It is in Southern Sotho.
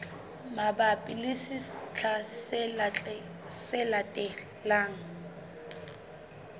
mabapi le sehla se tlang